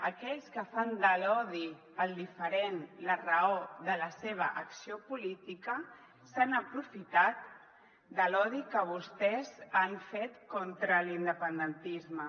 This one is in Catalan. aquells que fan de l’odi al diferent la raó de la seva acció política s’han aprofitat de l’odi que vostès han fet contra l’in·dependentisme